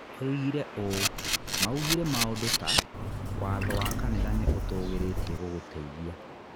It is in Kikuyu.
Oigire ũũ: "Maugire maũndũ ta, ' Watho wa kanitha nĩ ũtũgirĩtie gũgũteithia.'